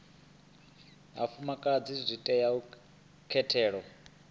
vhafumakadzi zwi tea u katela